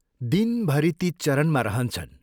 दिनभरि ती चरनमा रहन्छन्।